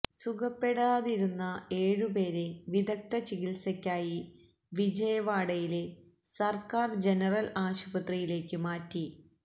സുഖപ്പെടാതിരുന്ന ഏഴു പേരെ വിദഗ്ധ ചികിത്സയ്ക്കായി വിജയവാഡയിലെ സർക്കാർ ജനറൽ ആശുപത്രിയിലേക്ക് മാറ്റി